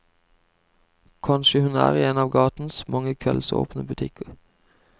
Kanskje hun er i en av gatens mange kveldsåpne butikker.